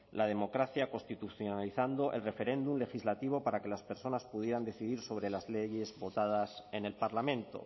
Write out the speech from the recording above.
la democracia constitucionalizando el referéndum legislativo para que las personas pudieran decidir sobre las leyes votadas en el parlamento